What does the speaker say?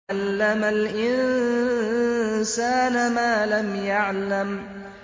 عَلَّمَ الْإِنسَانَ مَا لَمْ يَعْلَمْ